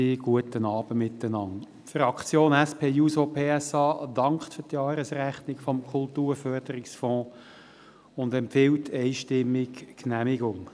Die Fraktion SP-JUSO-PSA dankt für die Jahresrechnung des Kulturförderungsfonds und empfiehlt einstimmig die Genehmigung.